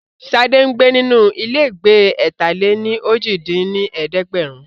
Sade ń gbé nínú ilégbèé ẹ̀ta-lé-ní-ojì dín ní ẹ̀ẹ́dẹ́gbẹ́rún